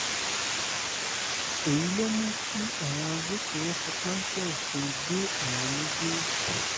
èyí ló mú kí àwọn agbófinró fi páńpẹ́ òfin gbé àwọn méjèèjì